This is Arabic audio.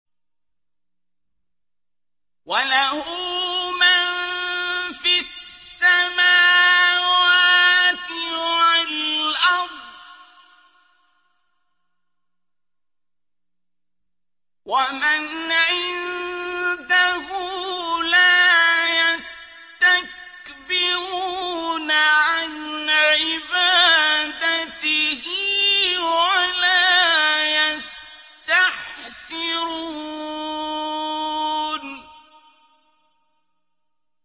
وَلَهُ مَن فِي السَّمَاوَاتِ وَالْأَرْضِ ۚ وَمَنْ عِندَهُ لَا يَسْتَكْبِرُونَ عَنْ عِبَادَتِهِ وَلَا يَسْتَحْسِرُونَ